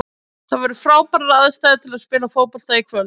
Það voru frábærar aðstæður til að spila fótbolta í kvöld.